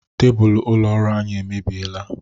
Tebulu ụlọ ọrụ anyị emebieela.